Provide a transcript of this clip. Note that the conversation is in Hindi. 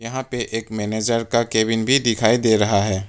यहां पे एक मैनेजर का केबिन भी दिखाई दे रहा है।